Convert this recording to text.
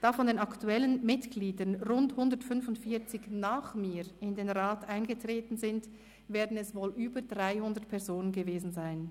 Da von den aktuellen Mitgliedern rund 145 nach mir in den Rat eingetreten sind, werden es wohl über 300 Personen gewesen sein.